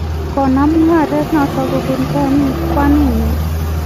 konam mungaret notok kobun kwaninyi